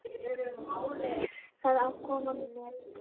Það á að koma með það.